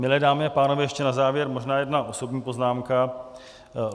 Milé dámy a pánové, ještě na závěr možná jedna osobní poznámka.